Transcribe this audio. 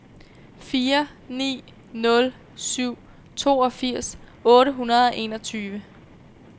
fire ni nul syv toogfirs otte hundrede og enogtyve